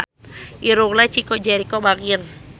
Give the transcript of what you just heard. Irungna Chico Jericho bangir